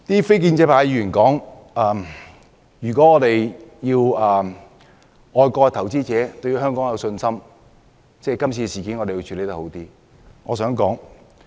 非建制派議員指出，如果要外國投資者對香港有信心，我們便要更好地處理這次事件。